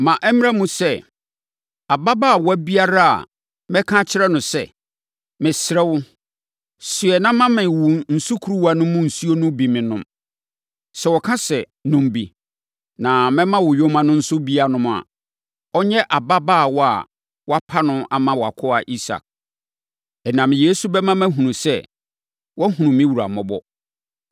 Ma ɛmmra mu sɛ, ababaawa biara a mɛka akyerɛ no sɛ, ‘Mesrɛ wo, soɛ na ma me wo sukuruwa no mu nsuo no bi nnom no,’ sɛ ɔka sɛ, ‘Nom bi, na mɛma wo yoma no nso bi anom’ a, ɔnyɛ ababaawa a woapa no ama wʼakoa Isak. Ɛnam yei so bɛma mahunu sɛ, woahunu me wura mmɔbɔ.”